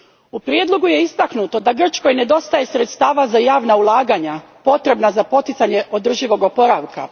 U prijedlogu je istaknuto da Grčkoj nedostaje sredstava za javna ulaganja potrebna za poticanje održivog oporavka.